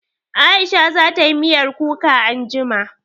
Aisha za tayi miyar kuka anjima